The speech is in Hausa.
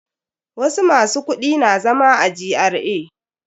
Wasu masu kudi na zama a GRA.